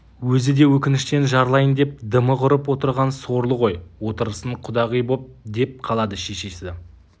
өзі де өкініштен жарылайын деп дымы құрып отырған сорлы ғой отырысын құдағи боп деп қалады шешесі